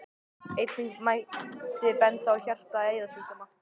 Einnig mætti benda á hjarta- og æðasjúkdóma.